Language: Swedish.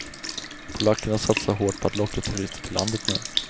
Polackerna satsar hårt på att locka turister till landet nu.